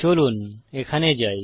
চলুন এখানে যাই